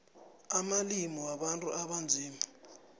amalimi wabantu abanzima